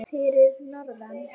Fyrir norðan?